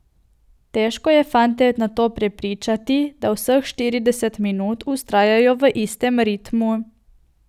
Težko je fante nato prepričati, da vseh štirideset minut vztrajajo v istem ritmu.